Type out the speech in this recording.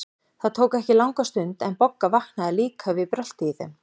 Það tók ekki langa stund, en Bogga vaknaði líka við bröltið í þeim.